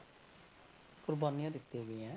ਕੁਰਬਾਨੀਆਂ ਦਿੱਤੀਆਂ ਗਈਆਂ ਹੈ।